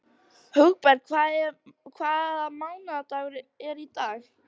Hugberg, hvaða mánaðardagur er í dag?